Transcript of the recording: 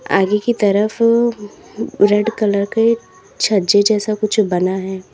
आगे की तरफ रेड कलर के छज्जे जैसा कुछ बना है।